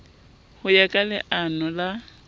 ho ya ka leano la